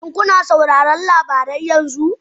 Shin kuna sauraron labarai yanzu?